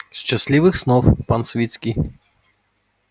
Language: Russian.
счастливых снов пан свицкий